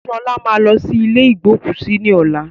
Sọlá máa lọ sí ilé igbókúsí ni ọ̀la